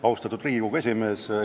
Austatud Riigikogu esimees!